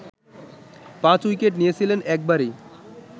পাঁচ উইকেট নিয়েছিলেন একবারই